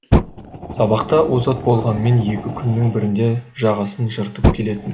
сабақта озат болғанымен екі күннің бірінде жағасын жыртып келетін